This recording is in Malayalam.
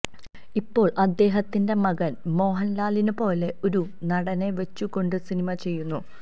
ഇപ്പോള് അദ്ദേഹത്തിന്റെ മകന് മോഹന്ലാലിനെപ്പോലെ ഒരു നടനെ വച്ചുകൊണ്ട് സിനിമ ചെയ്യുന്നു